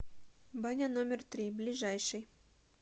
баня номер три ближайший